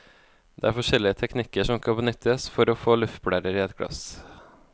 Der er forskjellige teknikker som kan benyttes får å få luftblærer i et glass.